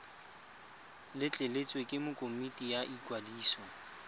letleletswe ke komiti ya ikwadiso